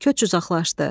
Köç uzaqlaşdı.